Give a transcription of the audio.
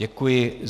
Děkuji.